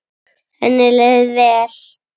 Henni leið vel.